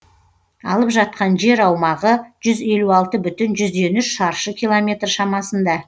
алып жатқан жер аумағы жүз елу алты бүтін жүзден үш шаршы километр шамасында